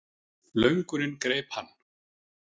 Löngunin greip hann.